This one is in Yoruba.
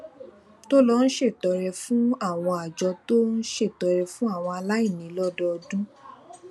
tó lọ ṣètọrẹ fún àwọn àjọ tó ń ṣètọrẹ fún àwọn aláìní lódọọdún